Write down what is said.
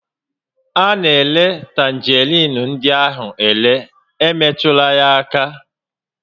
A na-ere tanjeriin ndị ahụ are, emetụla ha aka!